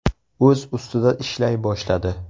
O‘z ustida ishlay boshladi.